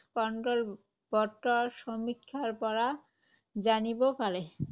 control board ৰ সমীক্ষাৰ পৰা জানিব পাৰে।